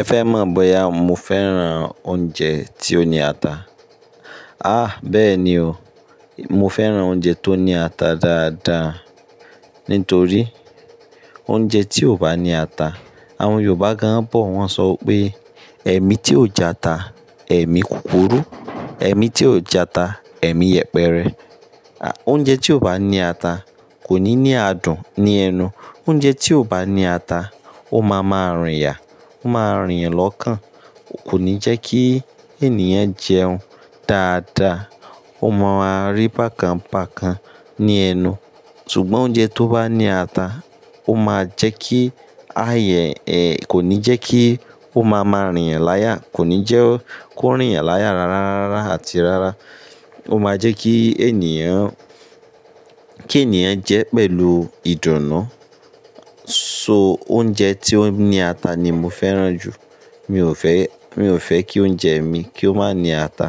Ẹ fẹ́ mọ̀ bọ́yá mo fẹ́ràn oúnjẹ tí ó ní ata? Àh, bẹ́ẹ̀ ni o. Mo fẹ́ràn oúnjẹ tó ní ata dáadáa. Nítorí oúnjẹ tí ò bá ní ata, àwọn Yorùbá gan-an bọ̀ wọ́n ń sọ pé: "Ẹ̀mí tí ò jẹ ata, ẹ̀mí kúkurú; ẹ̀mí tí ò jẹ ata, ẹ̀mí yẹpẹrẹ." À, oúnjẹ tí ò bá ní ata kò ní ní adùn ní ẹnu. Nítorí oúnjẹ tí ò bá ní ata, àwọn Yorùbá gan-an bọ̀ wọ́n ń sọ pé: "Ẹ̀mí tí ò jẹ ata, ẹ̀mí kúkurú; ẹ̀mí tí ò jẹ ata, ẹ̀mí yẹpẹrẹ." À, oúnjẹ tí ò bá ní ata kò ní ní adùn ní ẹnu. Ó máa ń rí bákan bákan ní ẹnu. Ṣùgbọ́n oúnjẹ tó bá ní ata, ó máa jẹ́ kí ayẹ ẹ̀, kò ní jẹ́ kí ó máa máa rìn yan láyà. Kò ní jẹ́ kó rìn láyà rárá, rárá àti rárá. Ó máa jẹ́ kí ènìyàn-- kí ènìyàn jẹ pẹ̀lú ìdùnnú. So oúnjẹ tí ó ní ata ni mo fẹ́ràn jù. Mi ò fẹ́, mi ò fẹ́ kí oúnjẹ mi kí ó má ní ata.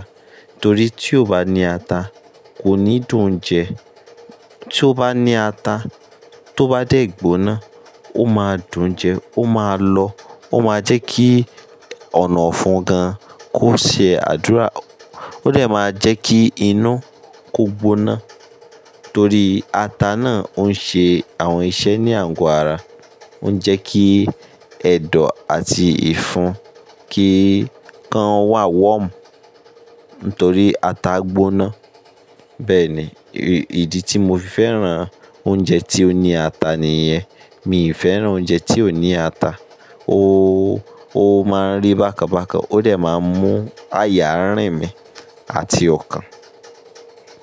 Torí tí ó bá ní ata, kò ní dùn-ún jẹ. Tí ó bá ní ata, tó bá dé gbóná, ó máa dùn jẹ, ó máa lọ́, ó máa jẹ́ kí ọ̀nà ọ̀fun gan kó ṣe àdúrà. Ó dẹ máa jẹ́ kí inú kó gbóná. Torí ata náà ń ṣe àwọn iṣẹ́ ní àágò ara. Ó ń jẹ́ kí ẹ̀dọ̀ àti ìfun kí kan wà wọ́m. Nítorí ata gbóná. Bẹ́ẹ̀ ni, ìdí tí mo fi fẹ́ràn oúnjẹ tí ó ní ata nìyẹn. Mi ò fẹ́ràn oúnjẹ tí ò ní ata. Ó, ó máa ń rí bákan bàkan. Ó dẹ máa mú àyà rìn mí àti ọkàn.